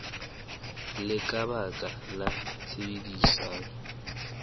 le ka baka la tshebedisano